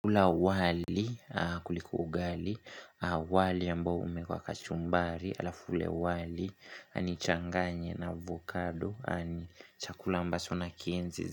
Ula wali kuliko ugali, wali ambao umeekwa kachumbari, alafu ule wali, nichanganye na avocado, ni chakula ambacho na kienzi.